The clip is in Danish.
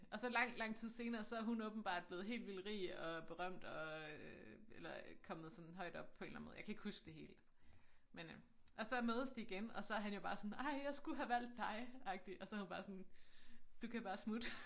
Og så lang lang tid senere så er hun åbenbart blevet helt vildt rig og berømt og eller kommet sådan højt op på en eller anden måde jeg kan ikke huske det hele men øh og så mødes de igen og så han jo bare sådan ej jeg skulle have valgt dig agtig og så hun bare sådan du kan bare smutte